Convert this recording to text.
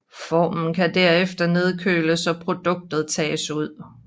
Formen kan derefter nedkøles og produktet tages ud